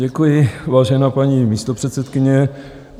Děkuji, vážená paní místopředsedkyně.